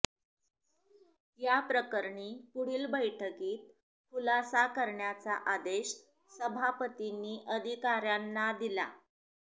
याप्रकरणी पुढील बैठकीत खुलासा करण्याचा आदेश सभापतींनी अधिकाऱयांना दिला